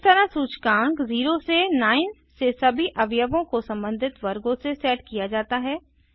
इस तरह सूचकांक 0 से 9 से सभी अवयवों को संबंधित वर्गों से सेट किया जाता है